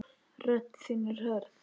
Rödd þín er hörð.